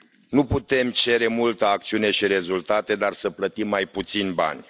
Nu putem cere multă acțiune și rezultate, dar să plătim mai puțini bani.